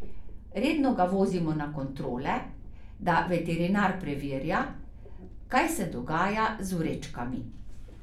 Redno ga vozimo na kontrole, da veterinar preverja, kaj se dogaja z vrečkami.